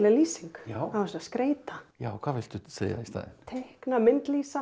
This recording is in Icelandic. lýsing á þessu að skreyta já hvað viltu segja í staðinn teikna